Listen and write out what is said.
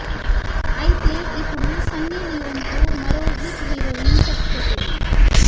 అయితే ఇపుడు సన్నీలియోన్ కు మరో హాట్ హీరోయిన్ చెక్ పెట్టింది